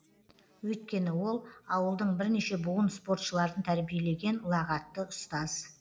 өйткені ол ауылдың бірнеше буын спортшыларын тәрбиелеген ұлағатты ұстаз